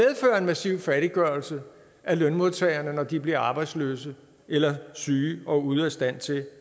massiv fattiggørelse af lønmodtagerne når de bliver arbejdsløse eller syge og ude af stand til